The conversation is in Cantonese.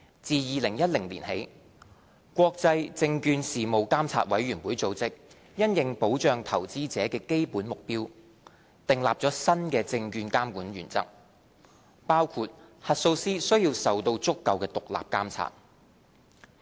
自2010年起，國際證券事務監察委員會組織因應保障投資者的基本目標，訂立了新的證券監管原則，包括核數師需要受到足夠的獨立監察。